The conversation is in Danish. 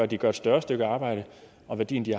de gør et større stykke arbejde og værdien de